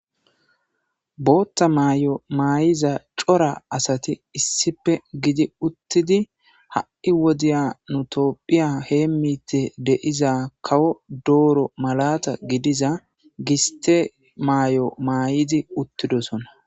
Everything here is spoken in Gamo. Bootta maay7o maay7iza cora asati issipe gidi uttidi ha7i wodiya nutopphiya hee mite deiza kawo dooro malata gidiza giste maay7o maay7idi uttidosonna